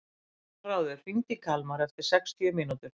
Aðalráður, hringdu í Kalmar eftir sextíu mínútur.